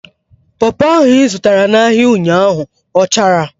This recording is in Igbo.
Popo ahụ ị zụtara n'ahia ụnyaahụ ọ chara?